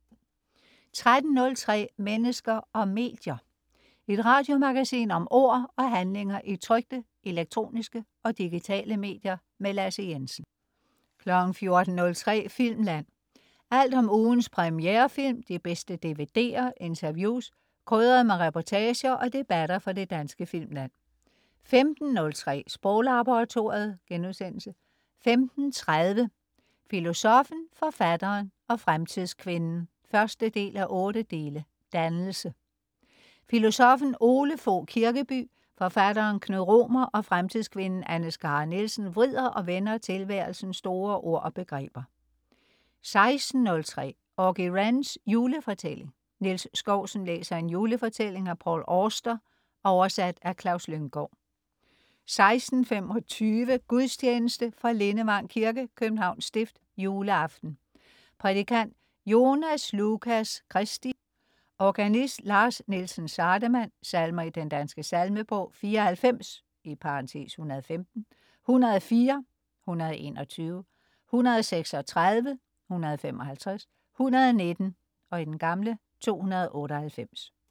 13.03 Mennesker og medier. Et radiomagasin om ord og handlinger i trykte, elektroniske og digitale medier. Lasse Jensen 14.03 Filmland. Alt om ugens premierefilm, de bedste DVD'er, interviews, krydret med reportager og debatter fra det danske filmland 15.03 Sproglaboratoriet* 15.30 Filosoffen, forfatteren og fremtidskvinden 1:8. Dannelse. Filosoffen Ole Fogh Kirkeby, forfatteren Knud Romer og fremtidskvinden Anne Skare Nielsen vrider og vender tilværelsens store ord og begreber 16.03 Auggie Wrens julefortælling. Niels Skousen læser en julefortælling af Paul Auster, oversat af Klaus Lynggaard 16.25 Gudstjeneste. Fra Lindevang kirke (Københavns stift). Juleaften. Prædikant: Jonas Lucas Christy. Organist: Lars Nielsen Sardemann. Salmer i Den Danske Salmebog: 94 (115), 104 (121), 136 (155), 119 (298)